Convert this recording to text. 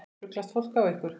Ruglast fólk á ykkur?